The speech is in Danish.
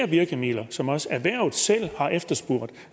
virkemidler som også erhvervet selv har efterspurgt